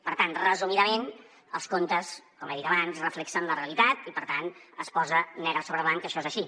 per tant resumidament els comptes com he dit abans reflecteixen la realitat i per tant es posa negre sobre blanc que això és així